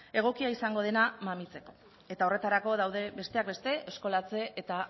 egokia izango dena mamitzeko eta horretarako daude besteak beste eskolatze eta